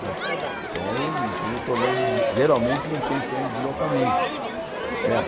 Não é então eu não tenho problema, geralmente não tenho problema de deslocamento, certo?